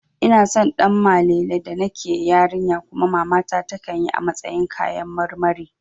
Ina son Ɗanmalele da nake yarinya kuma mamata takan yi a matsayin kayan karmari